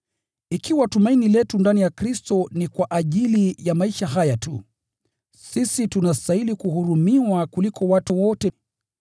Ikiwa tumaini letu ndani ya Kristo ni kwa ajili ya maisha haya tu, sisi tunastahili kuhurumiwa kuliko watu wote.